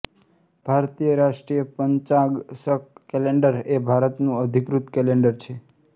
ભારતીય રાષ્ટ્રીય પંચાંગ શક કેલેન્ડર એ ભારતનું અધિકૃત કેલેન્ડર છે